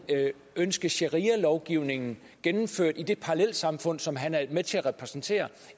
ønske sharialovgivningen gennemført i det parallelsamfund som han er med til at repræsentere